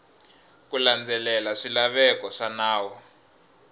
ku landzelela swilaveko swa nawu